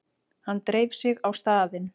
Hann dreif sig á staðinn.